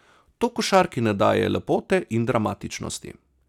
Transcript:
To košarki ne daje lepote in dramatičnosti.